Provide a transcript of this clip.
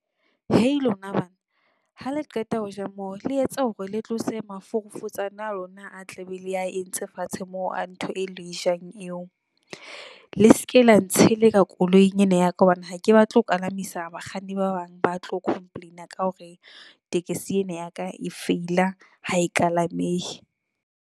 Hei lona bana, ha le qeta hoja moo le etse hore le tlose maforofotsane ana a lona, a tla be le a entse fatshe a ntho eo le e jang eo. Le ske la ntsheleka koloing ena ya ka. Hobane ha ke batla ho palamisa bakganni, ba bang ba tlo complain-a ka hore tekesi ena ya ka e feila ha e kalamehe.